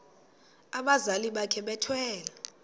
abazali bakhe bethwele